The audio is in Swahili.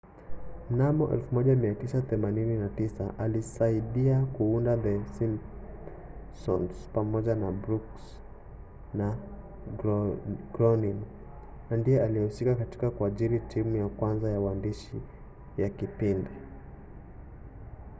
mnamo 1989 alisaidia kuunda the simpsons pamoja na brooks na groening na ndiye aliyehusika katika kuajiri timu ya kwanza ya uandishi ya kipindi